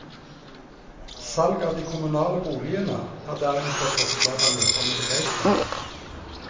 Salg av de kommunale boligene er derimot et forslag han møter med begeistring.